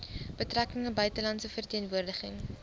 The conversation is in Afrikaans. betrekkinge buitelandse verteenwoordiging